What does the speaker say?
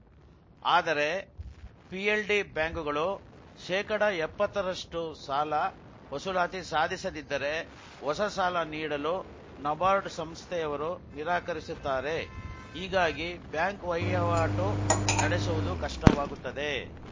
ಆದರೆ ಪಿಎಲ್‌ಡಿ ಬ್ಯಾಂಕುಗಳು ಶೇಕಡ ಎಪ್ಪತ್ತರಷ್ಟುಸಾಲ ವಸೂಲಾತಿ ಸಾಧಿಸದಿದ್ದರೆ ಹೊಸ ಸಾಲ ನೀಡಲು ನಬಾರ್ಡ್‌ ಸಂಸ್ಥೆಯವರು ನಿರಾಕರಿಸುತ್ತಾರೆ ಹೀಗಾಗಿ ಬ್ಯಾಂಕ್‌ ವಹ್ಯವಾಟು ನಡೆಸುವುದು ಕಷ್ಟವಾಗುತ್ತದೆ